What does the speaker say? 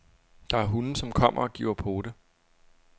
Der er hunde, som kommer og giver pote.